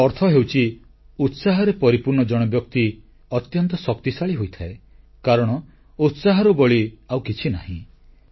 ଏହାର ଅର୍ଥ ହେଉଛି ଉତ୍ସାହରେ ପରିପୂର୍ଣ୍ଣ ଜଣେ ବ୍ୟକ୍ତି ଅତ୍ୟନ୍ତ ଶକ୍ତିଶାଳୀ ହୋଇଥାଏ କାରଣ ଉତ୍ସାହରୁ ବଳି ଆଉ କିଛି ନାହିଁ